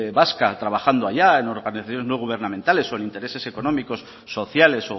vasca trabajando allá en organizaciones no gubernamentales o en intereses económicos sociales